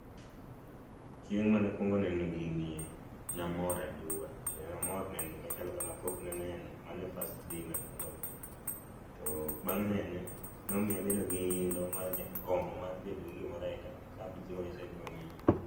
Chieng' mana kuongo neno gini e namor aduwa, kendo namor neno gima chalo kama pok naneno ,mano e first day mana kuonge nene, to bang' nene nomiyo abedo gi gombo mar neno gimoro ainano ka an be chieng moro nyasaye biro miya.